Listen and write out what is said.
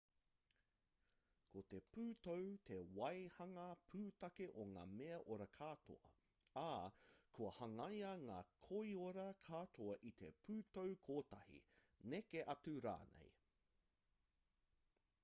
ko te pūtau te waehanga pūtake o ngā mea ora katoa ā kua hangaia ngā koiora katoa i te pūtau kotahi neke atu rānei